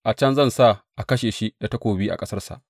A can zan sa a kashe shi da takobi a ƙasarsa.’